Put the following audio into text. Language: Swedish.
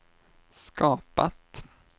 skapat